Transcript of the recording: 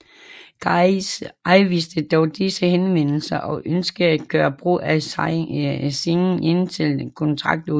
GAIS afviste dog disse henvendelser og ønskede at gøre brug af Singh indtil kontraktudløb